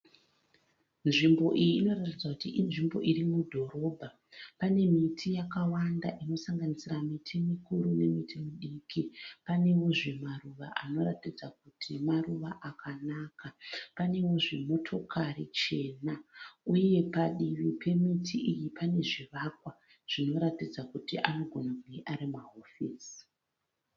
Nzvimbo iyi inoratidza kuti inzvimbo iri mudhorobha. Pane miti yakawanda inosanganisira miti mikuru nemiti midiki. Panewo zve maruva anoratidza Kuti maruva akanaka. Panewo zve motokari chena. Uye padivi pemiti iyi pane zvivakwa zvinoratidza kuti anogona kunge ari mahofisi.